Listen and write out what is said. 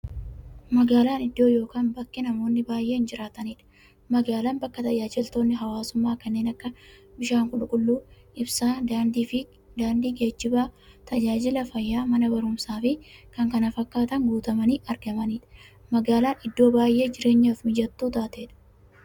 Magaalan iddoo yookiin bakka namoonni baay'inaan jiraataniidha. Magaalan bakka taajajilootni hawwaasummaa kanneen akka; bishaan qulqulluu, ibsaa, daandiifi geejjiba, taajajila fayyaa, Mana baruumsaafi kanneen kana fakkatan guutamanii argamaniidha. Magaalan iddoo baay'ee jireenyaf mijattuu taateedha.